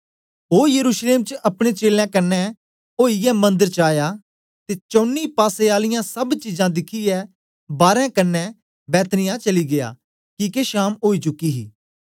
ओ यरूशलेम च अपने चेलें कन्ने ओईयै मंदर च आया ते चौनी पासें आले सब चीजां दिखियै बारें दे कन्ने बैतनिय्याह चली गीया किके शाम ओई चुकी ही